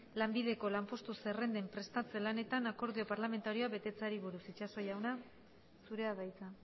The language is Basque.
lanbideko lanpostu zerrendaren prestatze lanetan akordio parlamentarioa betetzeari buruz itxaso jauna zurea da hitza